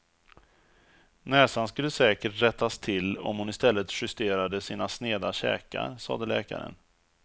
Näsan skulle säkert rättas till om hon i stället justerade sina sneda käkar, sade läkaren.